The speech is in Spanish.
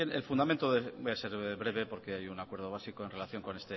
bien voy a ser breve porque hay un acuerdo básico en relación con